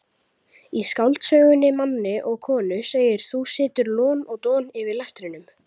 Í skáldsögunni Manni og konu segir: þú situr lon og don yfir lestrinum.